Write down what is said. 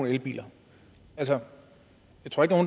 elbiler altså